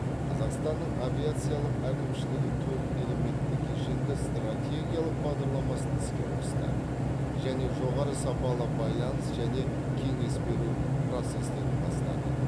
қазақстанның авиациялық әкімшілігі төрт элементті кешенді стратегиялық бағдарламасын іске қосты және жоғары сапалы байланыс және кеңес беру процестерін бастады